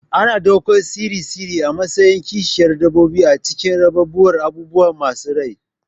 Ana ɗaukar tsire-tsire a matsayin kishiyar dabbobi a cikin rarrabuwar abubuwa masu rai.